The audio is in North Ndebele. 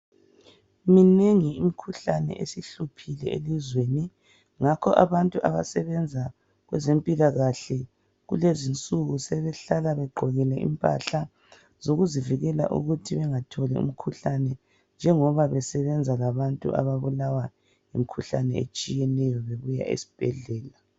Minengi imikhuhlane esihluphile elizweni ngakho abantu abasebenza kwezempilakahle kulezinsuku sebehlala begqokile impahla zokuzivikela ukuthi bengatholi umkhuhlane njengoba besebenza labantu ababulawa yimikhuhlane etshiyeneyo bebuya esibhedlela.